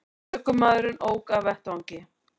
Ökumaðurinn ók af vettvangi